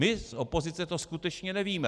My z opozice to skutečně nevíme.